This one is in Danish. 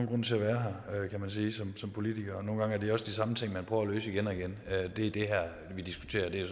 grund til at være her som politiker sige nogle gange er det også de samme ting man prøver at løse igen og igen det vi diskuterer